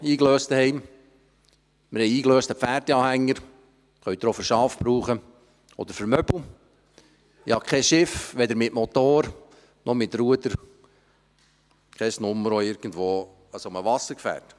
Wir haben zuhause ein Auto eingelöst, einen Pferdeanhänger – auch für Schafe oder Möbel zu gebrauchen –, ich habe kein Schiff, weder mit Motor noch mit Ruder, ich habe keine Nummer an solch einem Wassergefährt.